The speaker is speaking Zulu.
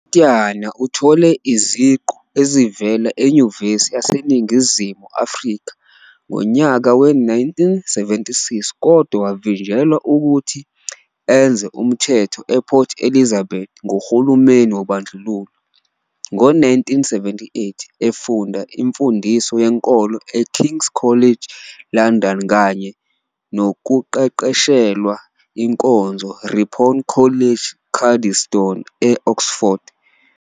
UPityana uthole iziqu ezivela eNyuvesi yaseNingizimu Afrika ngonyaka we-1976 kodwa wavinjelwa ukuthi enze umthetho ePort Elizabeth nguhulumeni wobandlululo. Ngo-1978, efunda imfundiso yenkolo eKing's College London kanye nokuqeqeshelwa inkonzo Ripon College Cuddesdon e-Oxford.